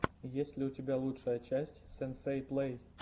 есть ли у тебя лучшая часть сенсей плей